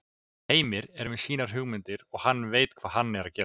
Heimir er með sínar hugmyndir og hann veit hvað hann er að gera.